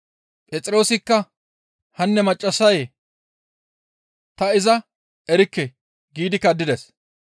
Phexroosikka, «Hanne maccassayee! Ta iza erikke» giidi kaddides.